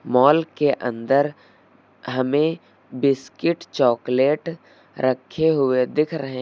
mall के अंदर हमें बिस्किट चॉकलेट रखे हुए दिख रहे --